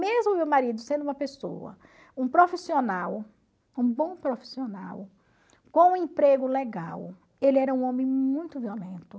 Mesmo meu marido sendo uma pessoa, um profissional, um bom profissional, com um emprego legal, ele era um homem muito violento.